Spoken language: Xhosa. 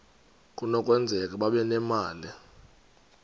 kunokwenzeka babe nemali